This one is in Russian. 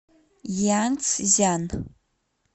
янцзян